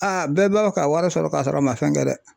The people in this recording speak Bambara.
bɛɛ b'a fɛ ka wari sɔrɔ ka sɔrɔ a man fɛn kɛ dɛ.